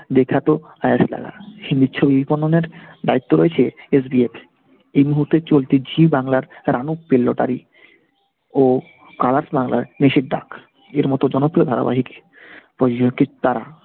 দেখা তো আইসা লাগা হিন্দি ছবি দ্বায়িত্ব রয়েছে SBF । এই মুহূর্তে চলতি জি বাংলার রানু পেলো lottery ও colors র নিশীর ডাক এর মতো জনপ্রিয় ধারাবাহিক তারা।